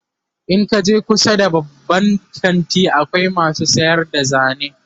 in kaje kusa da babban kanti akwai masu sayar da zane